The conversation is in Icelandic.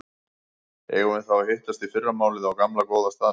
Eigum við þá að hittast í fyrramálið á gamla, góða staðnum?